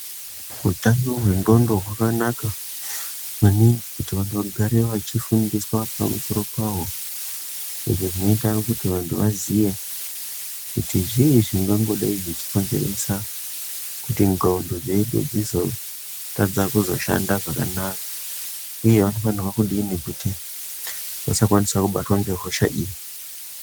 Utano hwendxondo hwakanaka maningi kuti vantu vagare veifundiswa pamusoro pahwo izvi zvinoita kuti vantu vaziye kuti zvii zvingangidai zveikonzeresa kuti ndxondo dzedu dzizotadza kuzoshanda zvakanaka uye vanofanirwa kudini kuti vasakwanisa kubatwa ngehosha iyi